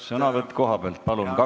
Sõnavõtt kohapealt, palun!